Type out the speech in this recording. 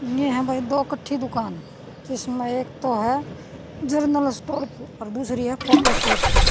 ये हं भई दो कट्ठी दुकान इसम्ह एक तो ह जरनल स्टोर अर दूसरी ह फोटोस्टेट की।